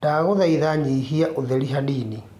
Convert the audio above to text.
ndagũthaĩtha nyĩhĩa utherĩ hanini